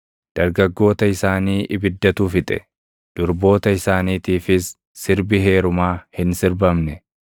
Dargaggoota isaanii ibiddatu fixe; durboota isaaniitiifis sirbi heerumaa hin sirbamne;